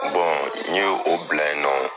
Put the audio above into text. n ye o bila yen nɔ